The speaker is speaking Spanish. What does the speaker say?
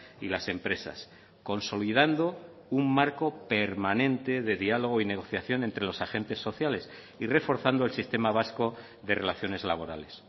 y las empresas consolidando un marco permanente de diálogo y negociación entre los agentes sociales y reforzando el sistema vasco de relaciones laborales